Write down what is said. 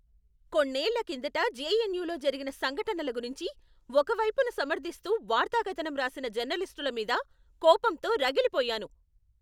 కొన్నేళ్ళ కిందట జెఎన్యులో జరిగిన సంఘటనల గురించి ఒక వైపును సమర్ధిస్తూ వార్తాకథనం రాసిన జర్నలిస్టుల మీద కోపంతో రగిలిపోయాను.